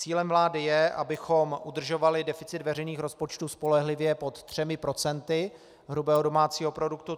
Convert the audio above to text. Cílem vlády je, abychom udržovali deficit veřejných rozpočtů spolehlivě pod třemi procenty hrubého domácího produktu.